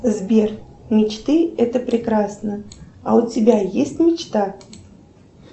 сбер мечты это прекрасно а у тебя есть мечта